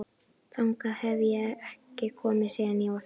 Þangað hef ég ekki komið síðan ég var fimm ára.